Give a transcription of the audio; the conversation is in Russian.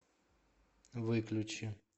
выключи